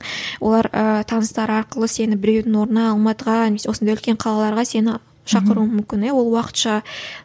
олар ыыы таныстары арқылы сені біреудің орнына алматыға немесе осындай үлкен қалаларға сені шақыруы мүмкін иә ол уакытша